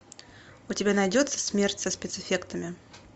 у тебя найдется смерть со спецэффектами